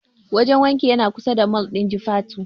Wajen wankin yana kusa da mol ɗin Jufatu.